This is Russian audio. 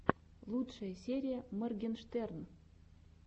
лучшая серия моргенштерн